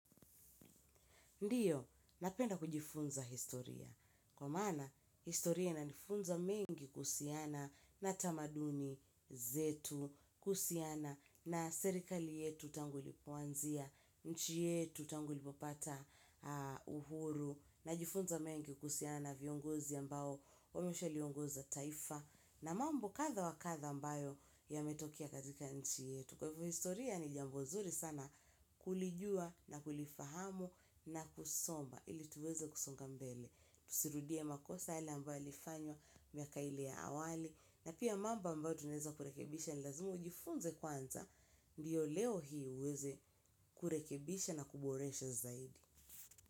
Ndiyo, napenda kujifunza historia, kwa maana historia inanifunza mengi kuhusiana na tamaduni zetu, kuhusiana na serikali yetu tangu ilipoanzia, nchi yetu tangu ilipopata uhuru, najifunza mengi kuhusiana na viongozi ambao, wameshaa liongoza taifa, na mambo kadha wa kadha ambayo yametokea katika nchi yetu. Kwa hivyo historia ni jambo nzuri sana kulijua na kulifahamu na kusoma ili tuweze kusonga mbele. Tusirudie makosa yale ambayo yalifanywa miaka ile ya awali. Na pia mambo ambayo tunaeza kurekebisha ni lazima ujifunze kwanza. Ndiyo leo hii uweze kurekebisha na kuboreshe zaidi.